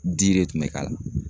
Di de tun bɛ k'a la.